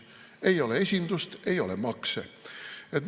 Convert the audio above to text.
Ei ole esindust, ei ole makse.